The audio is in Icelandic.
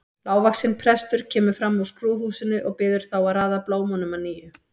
Lágvaxinn prestur kemur fram úr skrúðhúsinu og biður þá að raða blómunum að nýju.